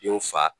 Denw fa